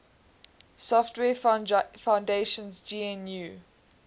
software foundation's gnu